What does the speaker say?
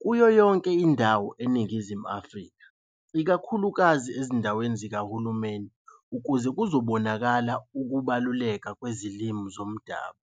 kuyo yonke indawo e Ningizimu Afrika ikakhulukazi ezindaweni zikaHulumeni ukuze kuzobonakala ukubaluleka kwezilimi zomdabu.